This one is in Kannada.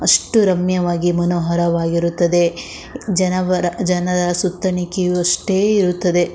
ಅಷ್ಟು ರಮ್ಯವಾಗಿ ಮನೋಹರವಾಗಿರುತ್ತದೆ ಜನವರ ಜನರ ಸುತ್ತನೆ ಕ್ಯೂ ಅಷ್ಟೇ ಇರುತ್ತದೆ.